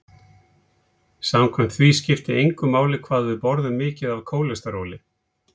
Samkvæmt því skipti engu máli hvað við borðum mikið af kólesteróli.